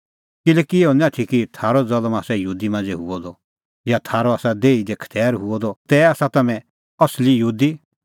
किल्हैकि इहअ निं आथी कि थारअ ज़ल्म आसा यहूदी मांझ़ै हुअ द या थारअ आसा देही दी खतैर हुअ द तै आसा तम्हैं असली यहूदी